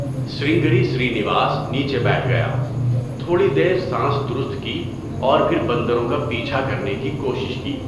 سرنگری سرینواس نیچے بیٹھ گیا، تھوڑی دیر سانس درستکی اور پھر بندروں کا پیچھا کرنے کی کوشش کی۔